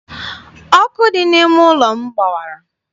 Ọkụ dị n'ime ụlọ m gbawara.